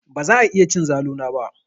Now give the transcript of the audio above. Baza a iya cin zalu na ba.